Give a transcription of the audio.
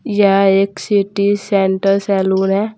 यह एक city centre saloon है।